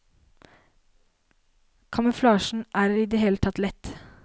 Kamuflasjen er i det hele tatt lett.